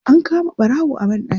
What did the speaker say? An kama ɓarawo a banɗaki.